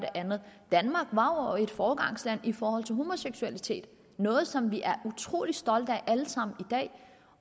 andet danmark var et foregangsland i forhold til homoseksualitet noget som vi er utrolig stolte af alle sammen dag